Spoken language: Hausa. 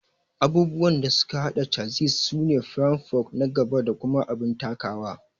Abubuwan da suka hada chassis sune firam, fork na gaba da kuma abin takawa